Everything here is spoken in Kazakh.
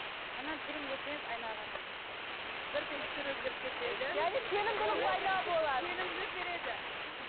ананың түрін көрсеңіз айнаға қарағанда бірден түрі өзгеріп кетеді сенімділік береді мхм